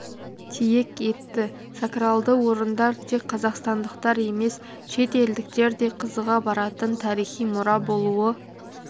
тиек етті сокралды орындар тек қазақстандықтар емес шет елдіктер де қызыға баратын тарихи мұра болуы